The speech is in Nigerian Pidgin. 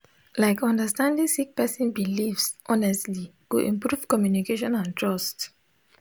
like understanding sik person bilifs honestly go improve communication and trust